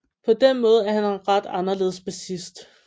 På den måde er han en ret anderledes bassist